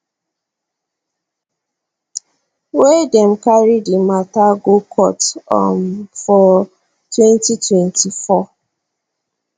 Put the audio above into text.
wey dem carry di mata go court um for 2024